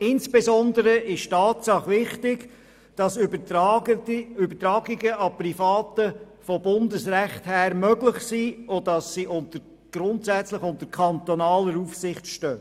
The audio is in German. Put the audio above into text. Insbesondere ist die Tatsache wichtig, dass Übertragungen an Private vom Bundesrecht her möglich sind und dass sie grundsätzlich unter kantonaler Aufsicht stehen.